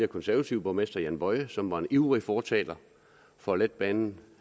konservative borgmester jan boye som var en ivrig fortaler for letbanen